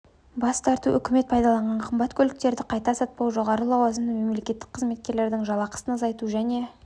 бас тарту үкімет пайдаланған қымбат көліктерді қайта сатпау жоғары лауазымды мемлекеттік қызметкерлердің жалақысын азайту және